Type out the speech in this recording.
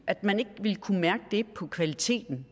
at man ikke vil kunne mærke det på kvaliteten